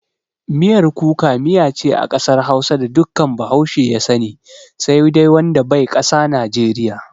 Miyar Kuka miya ce a kasar hausa da dukkan bahaushe ya sani, sai dai wanda bai ƙasa najeriya.